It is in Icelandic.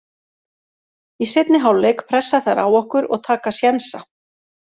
Í seinni hálfleik pressa þær á okkur og taka sénsa.